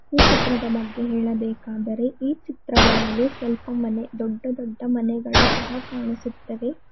ಈ ಚಿತ್ರದ ಬಗ್ಗೆ ಹೇಳಬೇಕಾದರೆ ಚಿತ್ರಗಳಲ್ಲಿ ಸ್ವಲ್ಪ ಮನೆ ದೊಡ್ಡ ದೊಡ್ಡ ಮನೆಗಳು ಚಹಾ ಕಾಣಿಸುತ್ತದೆ.